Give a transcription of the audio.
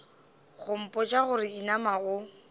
go mpotša gore inama o